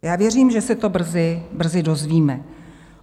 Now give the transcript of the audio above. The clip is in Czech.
Já věřím, že se to brzy dozvíme.